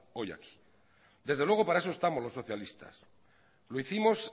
hoy aquí desde luego para eso estamos los socialistas lo hicimos